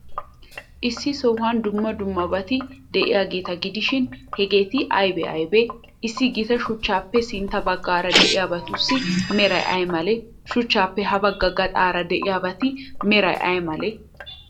Issi sohuwan dumma dummabati de'iyaageeta gidishin, hegeeti aybee aybee? Issi gita shuchchappe sintta baggaara de'iyaabatussi meray ay malee? shuchchaappe habagga gaxaara de'iyabati meray ay malee?